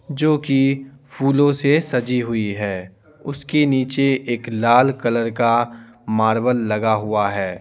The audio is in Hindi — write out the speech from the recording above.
जो कि फूलों से सजी हुई है उसके नीचे एक लाल कलर का मार्बल लगा हुआ है।